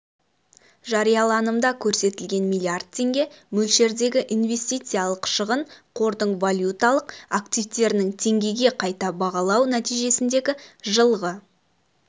жарияланымда көрсетілген миллиард теңге мөлшердегі инвестициялық шығын қордың валюталық активтерінің теңгеге қайта бағалау нәтижесіндегі жылғы